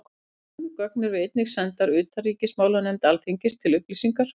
Sömu gögn eru einnig sendar utanríkismálanefnd Alþingis til upplýsingar.